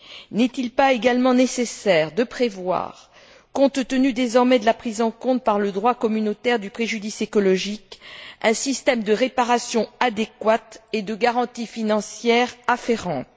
N'est il pas également nécessaire de prévoir, compte tenu désormais de la prise en compte par le droit communautaire du préjudice écologique, un système de réparation adéquate et de garantie financière afférente?